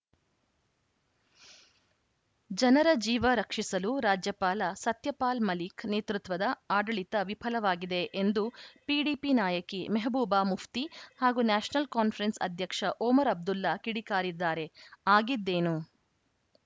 ಜನರ ಜೀವ ರಕ್ಷಿಸಲು ರಾಜ್ಯಪಾಲ ಸತ್ಯಪಾಲ್‌ ಮಲಿಕ್‌ ನೇತೃತ್ವದ ಆಡಳಿತ ವಿಫಲವಾಗಿದೆ ಎಂದು ಪಿಡಿಪಿ ನಾಯಕಿ ಮೆಹಬೂಬಾ ಮುಫ್ತಿ ಹಾಗೂ ನ್ಯಾಷನಲ್‌ ಕಾನ್ಫರೆನ್ಸ್‌ ಅಧ್ಯಕ್ಷ ಒಮರ್‌ ಅಬ್ದುಲ್ಲಾ ಕಿಡಿಕಾರಿದ್ದಾರೆ ಆಗಿದ್ದೇನು